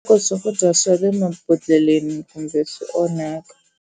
Swakudya swa le mabodhleleni kumbe swi onhaka.